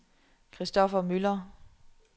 Kristoffer Müller